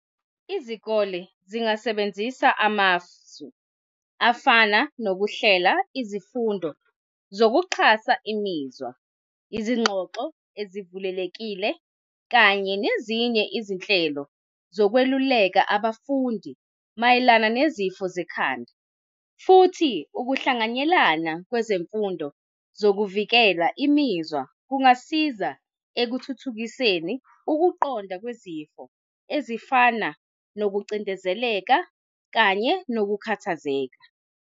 Izikole zingasebenzisa amasu afana nokuhlela izifundo zokuxhasa imizwa, izingxoxo ezivulelekile kanye nezinye izinhlelo zokweluleka abafundi mayelana nezifo zekhanda futhi ukuhlanganyelana kwezemfundo zokuvikela imizwa kungasiza ekuthuthukiseni ukuqonda kwezifo ezifana nokucindezeleka kanye nokukhathazeka.